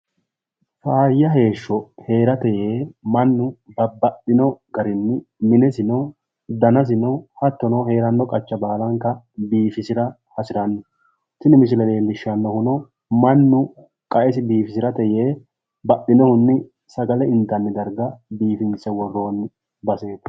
Faayya heesho heerate yee mannu babbaxxino garinni minesino umosino biifisira hasiranno tini misile leellishannohuno baxxinohunni sagale intanni base biifinse worroonni garaati